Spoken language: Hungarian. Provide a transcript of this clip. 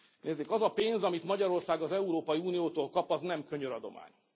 Nézzék, az a pénz, amit Magyarország az Európai Uniótól kap, az nem könyöradomány.